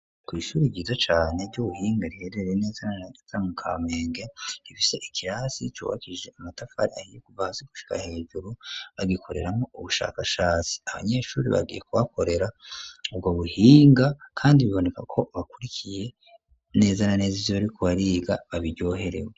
kw'ishuri ryiza cane ry'ubuhinga riherereye neza na naza mu Kamenge rifise ikirasi cubakishije amatafari ahiye kuva hasi gushika hejuru bagikoreramwo ubushakashatsi abanyeshuri bagiye ku bakorera ubwo buhinga kandi biboneka ko bakurikiye neza na neza ivyo bariko bariga babiryoherewe.